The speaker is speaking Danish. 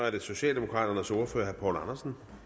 går